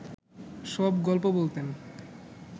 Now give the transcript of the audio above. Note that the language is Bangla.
সব গল্প বলতেন